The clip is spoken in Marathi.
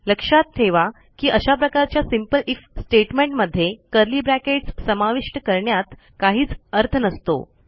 लक्षात ठेवा की अशा प्रकारच्या सिंपल आयएफ स्टेटमेंटमध्ये कर्ली ब्रॅकेट्स समाविष्ट करण्यात काहीच अर्थ नसतो